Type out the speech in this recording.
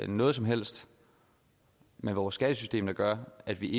noget som helst med vores skattesystem at gøre at vi